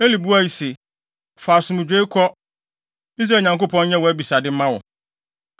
Eli buae se, “Fa asomdwoe kɔ! Israel Nyankopɔn nyɛ wʼabisade mma wo.”